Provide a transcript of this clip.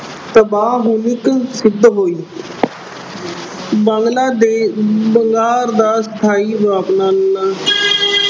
ਤਬਾਹਕੁਨ ਅਹ ਸਿੱਧ ਹੋਈ। ਬੰਗਲਾ ਦੇਸ਼ ਅਹ ਵਪਾਰ ਦਾ ਸਥਾਈ